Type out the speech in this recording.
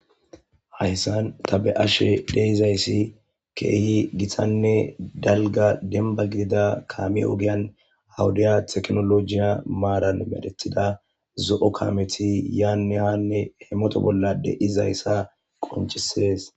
Hayssan ta be ashe dheizayssi keehi githanne dalga denba gidida kaamie ogiyan awudiya teknolojiya maaran medethida zo7o kameti yaanne hanne hemoto bolla de7izayssa qonchisees.